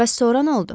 Bəs sonra nə oldu?